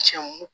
Cɛnw